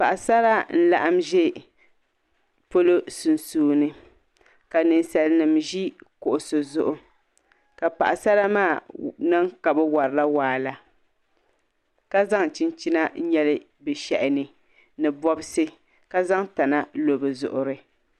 Paɣasara n laɣam ʒɛ pɔlɔ sunsuuni ka ninsal nim ʒi kuɣusi zuɣu ka paɣasara maa niŋ ka bi worila waa la ka zaŋ chinchina n nyɛli bi shaha ni ni bobsi ka zaŋ tana n lo bi zuɣuri